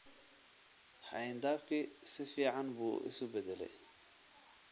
Xayndaabkii si fiican buu isu beddelay